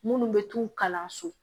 Minnu bɛ t'u kalanso